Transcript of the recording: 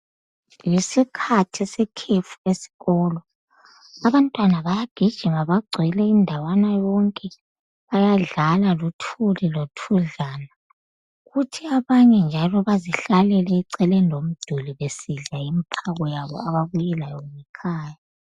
Ngesikhathi sekhefu esikolo , abantwana bayagijima bagcwele indawana yonke bayadlala luthuli , lothudlana , kuthi abanye njalo bazihlalele eceleni komduli besidla imphako yabo ababuye layo ngekhaya